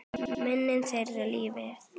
Minning þeirra lifir.